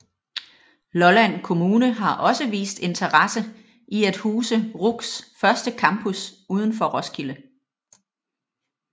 Lolland Kommune har også vist interesse i at huse RUCs første campus udenfor Roskilde